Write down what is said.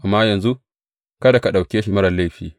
Amma yanzu, kada ka ɗauke shi marar laifi.